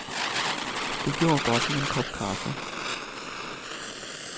Det gjorde godt med en kop kaffe.